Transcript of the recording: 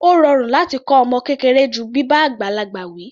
Ó rọrùn láti kọ́ ọmọ kékeré ju bíbá àgbàlagbà wi.